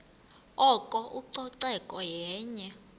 oko ucoceko yenye